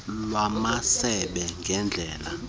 lamasebe ngendela ezichitha